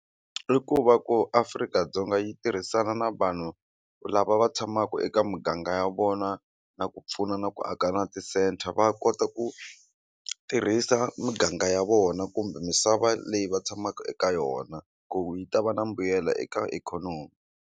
I ku va ku Afrika-Dzonga yi tirhisana na vanhu lava va tshamaku eka muganga ya vona na ku pfuna na ku aka na ti-centre va kota ku tirhisa miganga ya vona kumbe misava leyi va tshamaka eka yona ku yi ta va na mbuyelo eka ikhonomi.